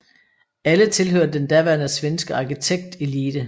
Alle tilhørte den daværende svenske arkitektelite